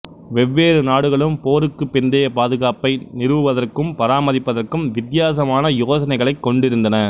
வெவ்வேறு நாடுகளும் போருக்குப் பிந்தைய பாதுகாப்பை நிறுவுவதற்கும் பராமரிப்பதற்கும் வித்தியாசமான யோசனைகளைக் கொண்டிருந்தன